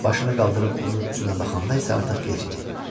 Başını qaldırıb onun üzünə baxanda isə artıq gec idi.